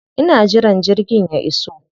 Ina jiran jirgin ya iso.